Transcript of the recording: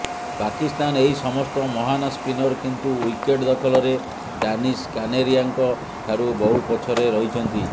ପାକିସ୍ତାନ ଏହି ସମସ୍ତ ମହାନ ସ୍ପିନର କିନ୍ତୁ ୱିକେଟ ଦଖଲରେ ଡାନିସ କାନେରିଆଙ୍କ ଠାରୁ ବହୁ ପଛରେ ରହିଛନ୍ତି